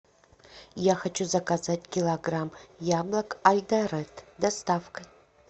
я хочу заказать килограмм яблок айдаред с доставкой